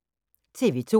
TV 2